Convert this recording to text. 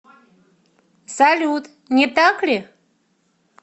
салют не так ли